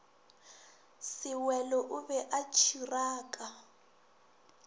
sewelo o be a tšhiraka